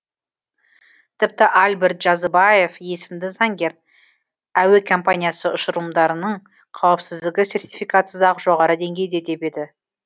тіпті альберт джазыбаев есімді заңгер әуе компаниясы ұшырылымдарының қауіпсіздігі сертификатсыз ақ жоғары деңгейде деп еді